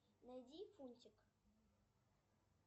найди фунтик